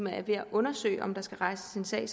er ved at undersøge om der skal rejses en sag